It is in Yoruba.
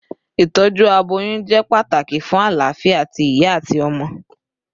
Itọju aboyun jẹ pataki fun alafia ti iya ati ọmọ